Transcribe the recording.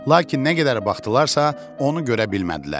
Lakin nə qədər baxdılarsa, onu görə bilmədilər.